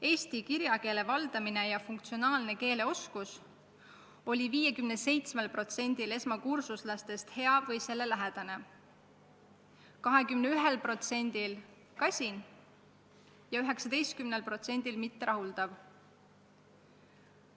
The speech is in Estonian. Eesti kirjakeele valdamine ja funktsionaalne keeleoskus oli 57%-l esmakursuslastest hea või selle lähedane, 21%-l kasin ja 19%-l mitterahuldav.